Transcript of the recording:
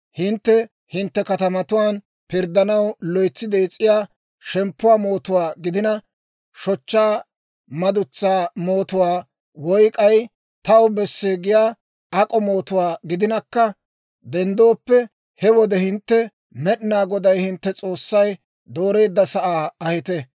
«Hintte hintte katamatuwaan pirddanaw loytsi dees'iyaa shemppuwaa mootuwaa gidina, shochchaa madutsaa mootuwaa, woy k'ay taw besse giyaa ak'o mootuwaa gidinakka denddooppe, he wode hintte Med'inaa Goday hintte S'oossay dooreedda sa'aa ahite.